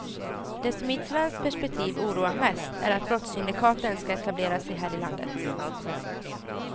Det som i ett svenskt perspektiv oroar mest är att brottssyndikaten ska etablera sig här i landet.